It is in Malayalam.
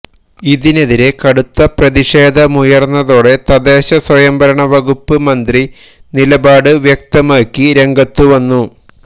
ഇതിനെതിരെ കടുത്ത പ്രതിഷേധമുയര്ന്നതോടെ തദ്ദേശ സ്വയംഭരണ വകുപ്പ് മന്ത്രി നിലപാട് വ്യക്തമാക്കി രംഗത്തു വന്നു